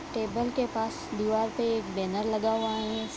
Table के पास दीवार पे एक बैनर लगा हुआ है ।